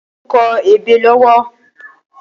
Ojo n kọ ébé lọwọ